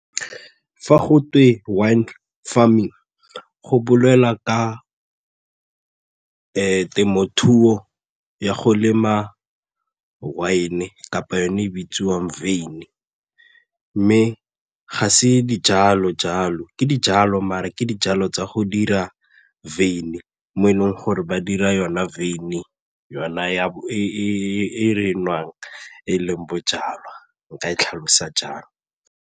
Fa go wine farming go bolela ka temothuo ya go lema wine kapa yone e bitsiwang mme ga se dijalo jalo, ke dijalo mare ke dijalo tsa go dira mo e leng gore ba dira yona e re e nwang e leng bojalwa nka e tlhalosa jalo.